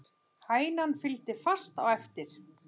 Hænan fylgdi fast á eftir.